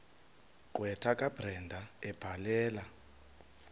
gqwetha kabrenda ebhalela